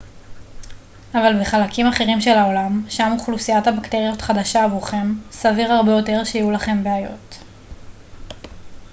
אבל בחלקים אחרים של העולם שם אוכלוסיית הבקטריות חדשה עבורכם סביר הרבה יותר שיהיו לכם בעיות